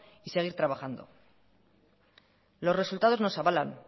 y seguir trabajando los resultados nos avalan